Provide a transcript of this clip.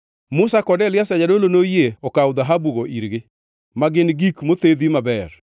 Musa kod Eliazar jadolo noyie okawo dhahabugo irgi, ma gin gik mothedhi maber.